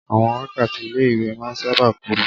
Àwọn wákàtí ilé ìwé máa ń sáábà kúrú.